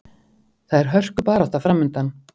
Það er hörkubarátta framundan.